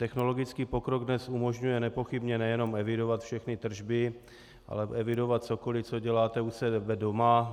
Technologický pokrok dnes umožňuje nepochybně nejenom evidovat všechny tržby, ale evidovat cokoli, co děláte u sebe doma.